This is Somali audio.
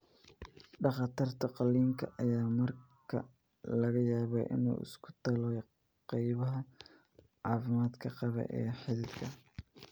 Dhakhtarka qalliinka ayaa markaa laga yaabaa inuu isku tolo qaybaha caafimaadka qaba ee xiidanka.